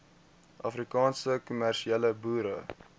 afrikaanse kommersiële boere